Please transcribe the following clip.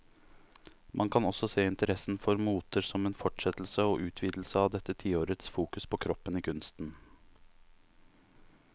Man kan også se interessen for moter som en fortsettelse og utvidelse av dette tiårets fokus på kroppen i kunsten.